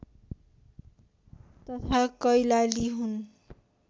तथा कैलाली हुन्